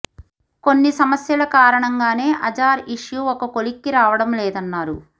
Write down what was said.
కొన్ని సమస్యల కారణంగానే అజార్ ఇష్యూ ఒక కొలిక్కి రావడం లేదన్నారు